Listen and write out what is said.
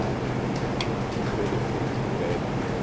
era ofereciam crédito.